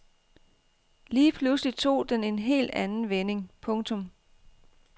Lige pludselig tog den en helt anden vending. punktum